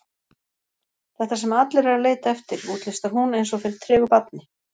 Þetta sem allir eru að leita eftir, útlistar hún eins og fyrir tregu barni.